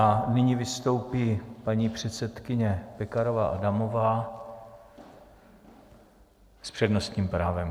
A nyní vystoupí paní předsedkyně Pekarová Adamová s přednostním právem.